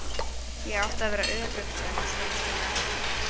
Ég átti að vera örugg, sagði hún skömmustulega.